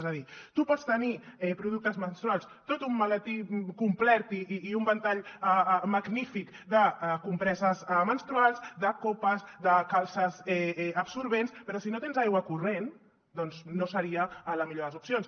és a dir tu pots tenir productes menstruals tot un maletí complet i un ventall magnífic de compreses menstruals de copes de calces absorbents però si no tens aigua corrent doncs no seria la millor de les opcions